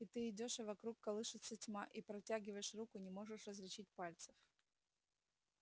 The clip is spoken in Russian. и ты идёшь а вокруг колышется тьма и протягиваешь руку не можешь различить пальцев